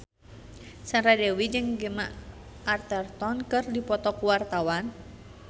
Sandra Dewi jeung Gemma Arterton keur dipoto ku wartawan